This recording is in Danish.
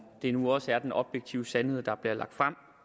det nu også er den objektive sandhed der bliver lagt frem